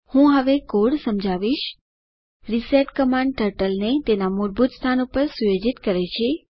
હું હવે કોડ સમજાવીશ રિસેટ કમાન્ડ ટર્ટલને તેના મૂળભૂત સ્થાન પર સુયોજિત કરે છે